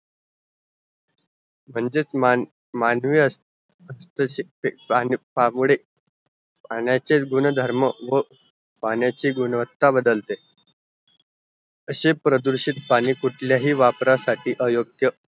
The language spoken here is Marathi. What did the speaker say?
म्हणजे मान्य पाण्याचे गुणधर्म व पाण्याचे गुणवत्ता बदलते अशे प्रदूषित पाणी कुठल्याही वापरासाठी अयोग्य